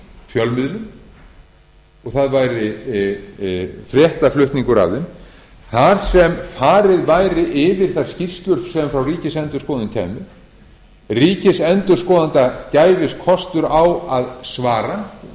fjölmiðlum og það væri fréttaflutningur af þeim þar sem farið væri yfir þær skýrslur sem frá ríkisendurskoðun kæmu ríkisendurskoðanda gæfist kostur á að svara